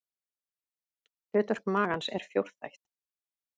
Hlutverk magans er fjórþætt.